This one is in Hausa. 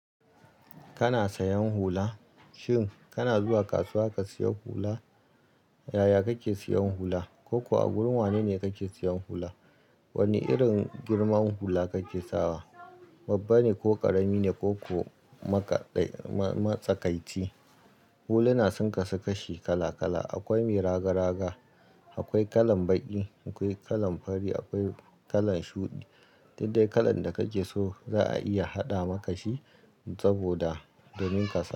Kana sayan hula? Shin kana zuwa kasuwa ka seya hula? Yaya kake sayan hula? Ko kuwa a gurin wane ne kake sayan hula? Wane irin girman hula kake sawa? Babba ne ko ƙarami ne ko ko masatsakaitci? Huluna sun kasu kashi kala kala. Akoi mai raga raga, akwai kalan baƙi, akwai kalan fari, akwai kalan shuɗi. Duk dai kalan da kake so za a iya haɗa maka shi saboda domin kasa.